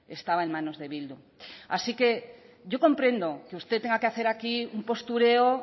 estaba en manos de bildu así que yo comprendo que usted tenga que hacer aquí un postureo